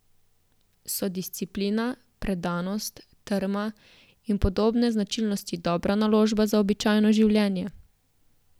So disciplina, predanost, trma in podobne značilnosti dobra naložba za običajno življenje?